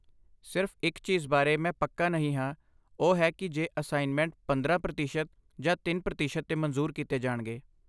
ਸਿਰਫ਼ ਇਕ ਚੀਜ਼ ਜਿਸ ਬਾਰੇ ਮੈਂ ਪੱਕਾ ਨਹੀਂ ਹਾਂ ਉਹ ਹੈ ਕਿ ਜੇ ਅਸਾਈਨਮੈਂਟ ਪੰਦਰਾਂ ਪ੍ਰਤੀਸ਼ਤ ਜਾਂ ਤਿੰਨ ਪ੍ਰਤੀਸ਼ਤ ਤੇ ਮਨਜ਼ੂਰ ਕੀਤੇ ਜਾਣਗੇ